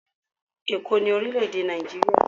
eko ni orile ede naijiria